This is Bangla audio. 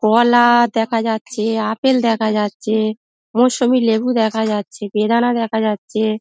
কলা-আ দেখা যাচ্ছে আপেল দেখা যাচ্ছে মুসুম্বি লেবু দেখা যাচ্ছে বেদনা দেখা যাচ্ছে।